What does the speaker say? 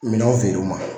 Minɛnw feere u ma